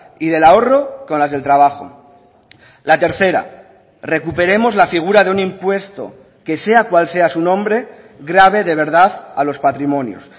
y del ahorro con las del trabajo la tercera recuperemos la figura de un impuesto que sea cual sea su nombre grave de verdad a los patrimonios